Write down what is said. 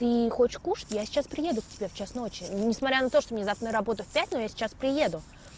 ты хочешь кушать я сейчас приеду к тебе в час ночи несмотря на то что мне завтра на работу в пять но я сейчас приеду